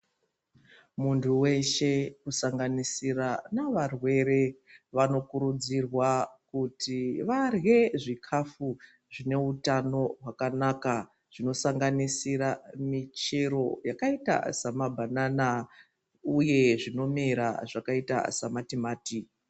Muntu weshe kusanganisira nevarwere vanokurudzirwa kuti varye zvikafu zvineutano hwakanaka zvinosanganisira michero samabanana uye zvinomera zvakaita sematimati.